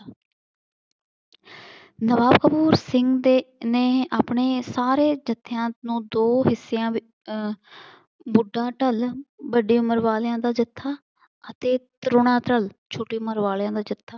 ਨਵਾਬ ਕਪੂਰ ਸਿੰਘ ਦੇ ਨੇ ਆਪਣੇ ਸਾਰੇ ਜੱਥਿਆਂ ਨੂੰ ਦੋ ਹਿੱਸਿਆਂ ਵਿੱ ਅਹ ਬੁੱਢਾ ਢਲ ਵੱਡੀ ਉਮਰ ਵਾਲਿਆਂ ਦਾ ਜਥਾ ਅਤੇ ਧਰੋਣਾ ਚਲ ਛੋਟੀ ਉਮਰ ਵਾਲਿਆਂ ਦਾ ਜਥਾ